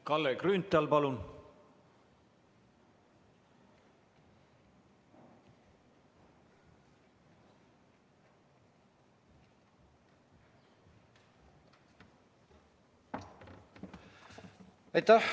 Kalle Grünthal, palun!